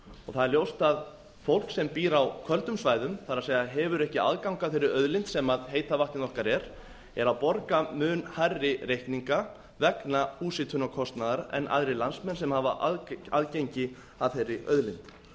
það er ljóst að fólk sem býr á köldum svæðum það er hefur ekki aðgang að þeirri auðlind sem heita vatnið okkar er er að borga mun hærri reikninga vegna húshitunarkostnaðar en aðrir landsmenn sem hafa aðgengi að þeirri auðlind